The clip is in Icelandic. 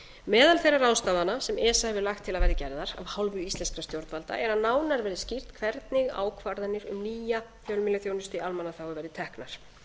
meðal þeirra ráðstafana sem esa hefur lagt til að verði gerðar af hálfu íslenskra stjórnvalda er að nánar verði skýrt hvernig ákvarðanir um nýja fjölmiðlaþjónustu í almannaþjónustu verði teknar